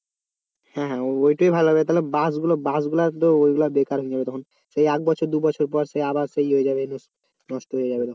হ্যাঁ ওইটাই ভালো হবে তাহলে বাঁশগুলো বাঁশগুলা তো ওইগুলা বেকার হয়ে যাবে তখন সে এক বছর দু বছর পরে সে আবার সেই হয়ে যাবে নষ্ট হয়ে যাবে তখন